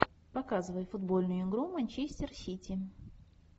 показывай футбольную игру манчестер сити